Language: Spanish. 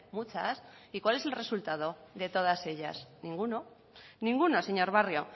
muchas y cuál es el resultado de todas ellas ninguno ninguno señor barrio